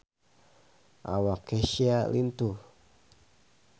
Awak Kesha lintuh